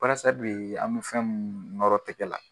Barasa bee an bɛ fɛn muun nɔrɔ tɛgɛ la